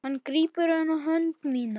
Hann grípur um hönd mína.